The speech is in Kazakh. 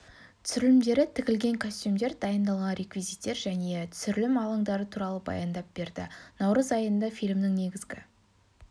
түсірілімдері тігілген костюмдер дайындалған реквизиттер және түсірілім алаңдары туралы баяндап берді наурыз айында фильмнің негізгі